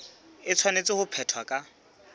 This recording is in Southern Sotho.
e tshwanetse ho phethwa ka